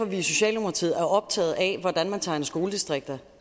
vi i socialdemokratiet er optaget af hvordan man tegner skoledistrikter